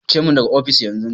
Fice min daga ofis, yanzu!